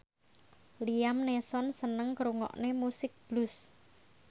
Liam Neeson seneng ngrungokne musik blues